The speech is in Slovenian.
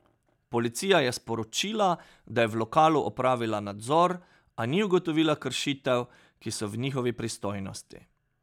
Policija je sporočila, da je v lokalu opravila nadzor, a ni ugotovila kršitev, ki so v njihovi pristojnosti.